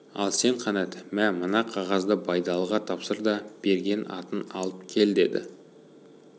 ал сен қанат мә мына қағазды байдалыға тапсыр да берген атын алып кел деді